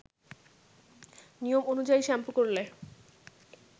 নিয়ম অনুযায়ী শ্যাম্পু করলে